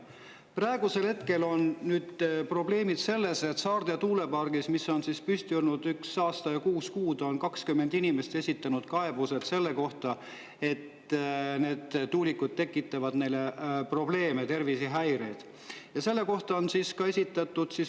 Praegu on probleem selles, et Saarde tuulepargi kohta, mis on püsti olnud üks aasta ja kuus kuud, on 20 inimest esitanud kaebuse, sest need tuulikud tekitavad neile tervisehäired.